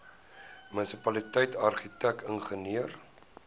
munisipaliteit argitek ingenieur